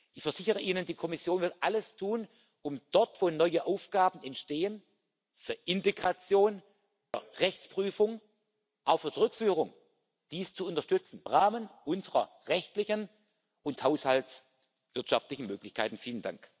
Ich versichere Ihnen Die Kommission wird alles tun, um dort, wo neue Aufgaben entstehen für Integration, für Rechtsprüfung, auch für Rückführung dies im Rahmen unserer rechtlichen und haushaltswirtschaftlichen Möglichkeiten zu unterstützen.